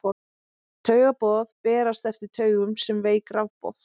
Taugaboð berast eftir taugum sem veik rafboð.